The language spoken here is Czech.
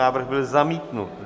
Návrh byl zamítnut.